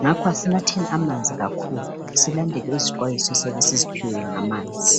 ngakho asinatheni amanzi kakhulu silandele izixwayiso esiyabe siziphiwe ngamanzi.